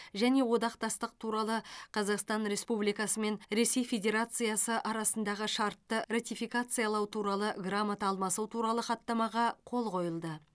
және одақтастық туралы қазақстан республикасы мен ресей федерациясы арасындағы шартты ратификациялау туралы грамота алмасу туралы хаттамаға қол қойылды